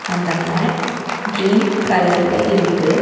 அந்த matte green கலர்ல இருக்கு.